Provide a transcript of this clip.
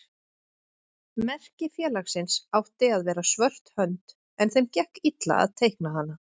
Merki félagsins átti að vera svört hönd en þeim gekk illa að teikna hana.